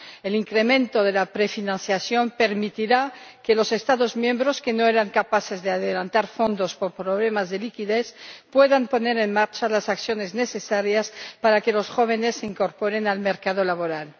El incremento de la prefinanciación permitirá que los Estados miembros que no eran capaces de adelantar fondos por problemas de liquidez puedan poner en marcha las acciones necesarias para que los jóvenes se incorporen al mercado laboral.